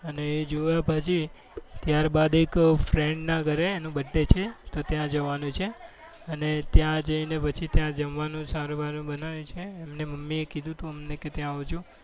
અને એ જોયા પછી ત્યારબાદ પછી એક friends ના ઘરે એનો birthday છે તો ત્યાં જવાનું છે અને ત્યાં જઈને પછી ત્યાં જમવાનું સારું એવું બનાવ્યું છે એમને મમ્મીએ કીધું હતું અમને કે ત્યાં આવજો.